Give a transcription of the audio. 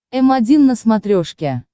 м один на смотрешке